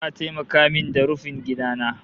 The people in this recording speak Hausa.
Za'a taimaka min da rufin gida na